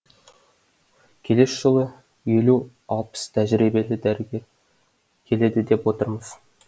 келесі жылы елу алпыс тәжірибелі дәрігер келеді деп отырмыз